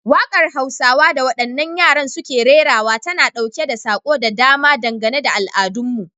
Wakar Hausawa da wadannan yaran suke rerawa tana dauke da sako da dama dangane da al'adunmu.